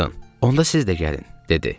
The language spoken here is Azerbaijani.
Onda siz də gəlin, dedi.